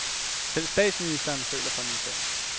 Selv statsministeren føler for min sag.